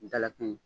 Dalakɛɲɛ